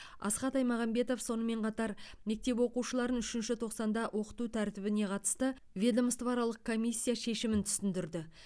асхат аймағамбетов сонымен қатар мектеп оқушыларын үшінші тоқсанда оқыту тәртібіне қатысты ведомствоаралық комиссия шешімін түсіндірді